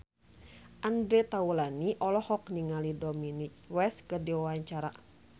Andre Taulany olohok ningali Dominic West keur diwawancara